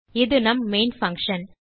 இது நம் main function